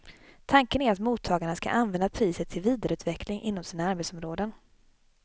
Tanken är att mottagarna ska använda priset till vidareutveckling inom sina arbetsområden.